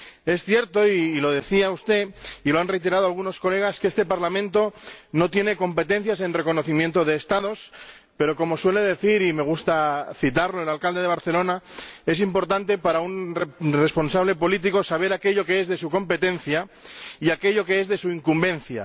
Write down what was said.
Es cierto —y lo decía usted y lo han reiterado algunos diputados— que este Parlamento no tiene competencias en reconocimiento de Estados, pero como suele decir —y me gusta citarlo— el alcalde de Barcelona, es importante para un responsable político saber aquello que es de su competencia y aquello que es de su incumbencia.